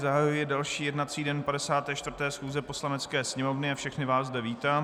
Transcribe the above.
Zahajuji další jednací den 54. schůze Poslanecké sněmovny a všechny vás zde vítám.